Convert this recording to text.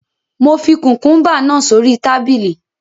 Mo fi kùkùúmbà náà sórí tábìlì